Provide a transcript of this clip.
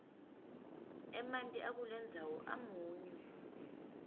emanti akulendzawo amunyu